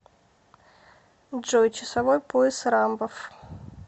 джой часовой пояс рамбов